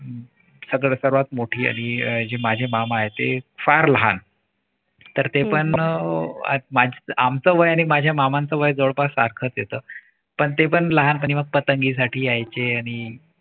सगळे सर्वात मोठी आणि माझे मामा आहेत ते फार लहान. तर ते पण आमचं वय आणि माझ्या मामांचं वय जवळपास सारखाच येत. पण ते पण लहान आणि मग पतंगीसाठी यायचे. आणि